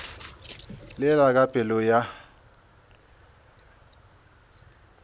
le la ka pelo ya